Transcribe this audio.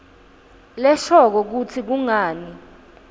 leshoko kutsi kungani